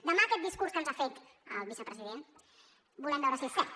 demà aquest discurs que ens ha fet el vicepresident volem veure si és cert